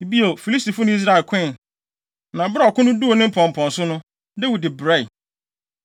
Bio, Filistifo ne Israel koe. Na bere a ɔko no duu ne mpɔmpɔnso no, Dawid brɛe.